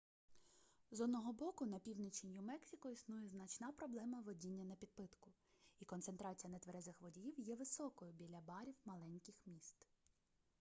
з одного боку на півночі нью-мексико існує значна проблема водіння напідпитку і концентрація нетверезих водіїв є високою біля барів маленьких міст